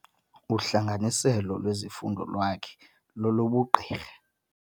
Uhlanganiselo lwezifundo lwakhe lolobugqirha.